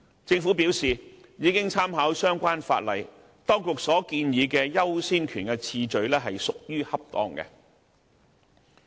政府表示已經參考相關法例，認為當局建議的優先權次序屬於恰當。